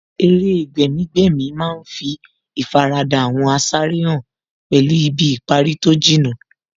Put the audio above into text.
Eré gbẹ̀mí-gbẹ̀mí má ń fí ìfaradà àwọn asáré hàn pẹ̀lú ibi ìparí tó jìnnà